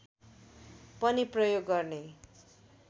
पनि प्रयोग गर्ने